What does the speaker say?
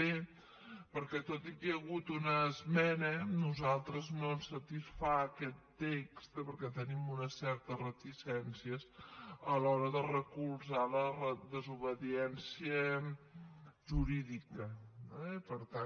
b perquè tot i que hi ha hagut una esmena a nosaltres no ens satisfà aquest text perquè tenim unes certes reticències a l’hora de recolzar la desobediència jurídica eh per tant